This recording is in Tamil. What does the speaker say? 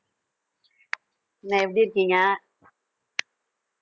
என்ன எப்படி இருக்கீங்க